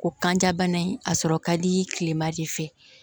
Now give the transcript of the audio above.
O kan ja bana in a sɔrɔ ka di kilema de fɛ